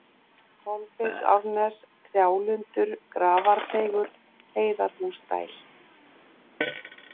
Kolbeinsárnes, Trjálundur, Grafarteigur, Heiðarhúsadæl